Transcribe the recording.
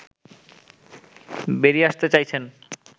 বেরিয়ে আসতে চাইছেন